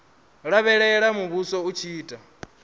lavhelela muvhuso u tshi ita